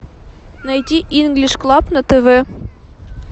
найти инглиш клаб на тв